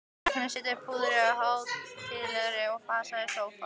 Krakkarnir settust prúðir og hátíðlegir í fasi í sófann.